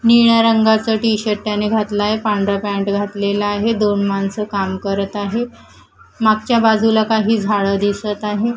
निळ्या रंगाचं टी_शर्ट त्याने घातलं आहे पांढरा पॅन्ट घातलेला आहे दोन माणसं काम करत आहेत मागच्या बाजूला काही झाडं दिसत आहेत.